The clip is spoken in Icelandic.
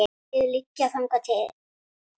Þrjú hlið liggja þangað inn.